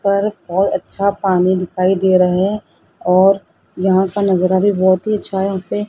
पर और अच्छा पानी दिखाई दे रहे हैं और जहां का नजारा भी बहुत ही अच्छा है उसे--